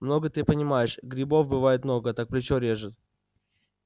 много ты понимаешь грибов бывает много так плечо режет